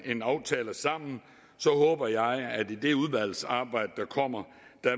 en aftale sammen så håber jeg at i det udvalgsarbejde der kommer